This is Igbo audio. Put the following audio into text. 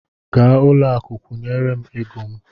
Gaa n'ụlọakụ kwụnyere m ego m!